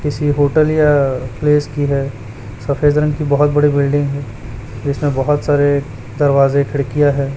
किसी होटल या प्लेस की हैं सफेद रंग की बहोत बड़ी बिल्डिंग है जिसमें बहोत सारे दरवाजे खिड़कियां है।